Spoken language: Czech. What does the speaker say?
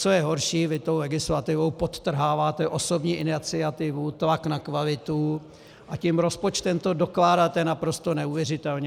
Co je horší, vy tou legislativou podtrháváte osobní iniciativu, tlak na kvalitu, a tím rozpočtem to dokládáte naprosto neuvěřitelně.